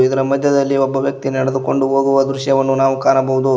ಇದರ ಮಧ್ಯದಲ್ಲಿ ಒಬ್ಬ ವ್ಯಕ್ತಿ ನಡೆದುಕೊಂಡು ಹೋಗುವ ದೃಶ್ಯವನ್ನು ನಾವು ಕಾಣಬಹುದು.